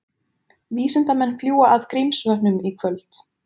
Vísindamenn fljúga að Grímsvötnum í kvöld